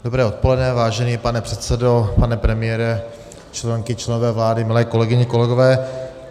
Dobré odpoledne, vážený pane předsedo, pane premiére, členky, členové vlády, milé kolegyně, kolegové.